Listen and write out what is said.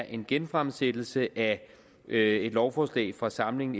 en genfremsættelse af et lovforslag fra samlingen